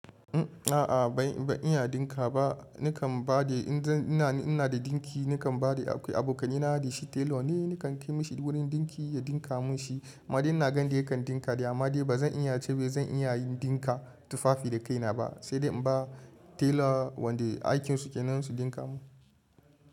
A'a ban iya ɗinka ba nakan ba da inza ina da dinki nakan ba da akwai abokanaina da shi tailor ne, nakan kai mashi duk wani ɗinki ya ɗinka mun shi. Amma dai ina ganin yanda yakan dinka dai, amma dai ba zan iya ce wai zan iya yin dinka tufafi da kaina ba sai dai in ba tailor wanda aikin su kenan su dinka mun.